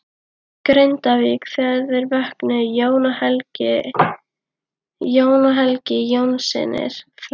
Grindavík þegar þeir vöknuðu, Jón og Helgi Jónssynir frá